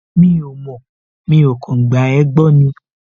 Mi ò mọ̀, mi ò kàn gba ẹ́ gbọ́ ni